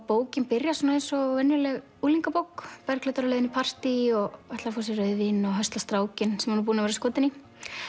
bókin byrjar eins og venjuleg unglingabók Bergljót er á leið í partý og ætlar að fá sér rauðvín og hösla strákinn sem hún er skotin í